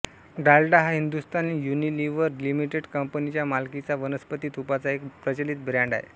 डालडा हा Hindustan Unilever limited कंपनीच्या मालकीचा वनस्पती तुपाचा एक प्रचलित ब्रॅंड आहे